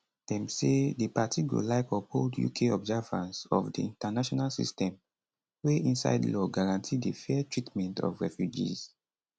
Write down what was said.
dem say di party go like uphold uk observance of di international system wey inside law guarantee di fair treatment of refugees